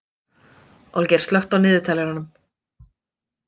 Olgeir, slökktu á niðurteljaranum.